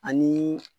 Ani